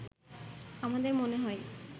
“আমাদের মনে হয়